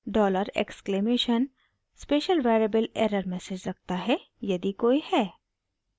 Dollar exclamation $! Special variable error message रखता है यदि कोई है